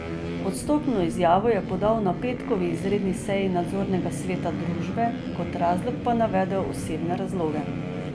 Odstopno izjavo je podal na petkovi izredni seji nadzornega sveta družbe, kot razlog pa navedel osebne razloge.